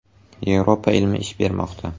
Yevropa ilmi ish bermoqda!